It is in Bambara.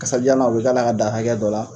Kasadiyalan u bɛ k'a la k'a dan hakɛ dɔ la.